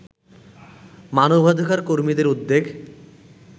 মানবাধিকার কর্মীদের উদ্বেগ